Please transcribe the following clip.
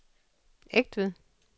Egtved